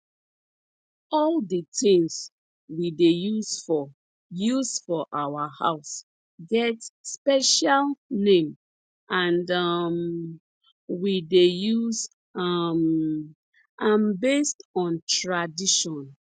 all di tins we dey use for use for our house get special name and um we dey use um am based on tradition